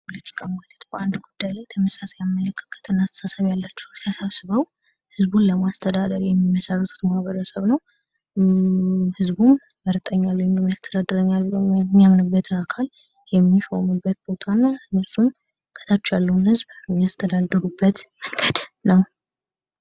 ሰላጣ ለጤና ጥቅም ካላቸው ምግቦች መካከል አንዱ ነው በብዛት መመገብ ይቻላል ሰላጣ አረንጓዴ ስለሆነ የሚበላ ምግብ ተቆራርጦ ከሌሎች አትክልቶች ጋር ከሌሎች ጋር ተቀላቅለው ይፈልጋል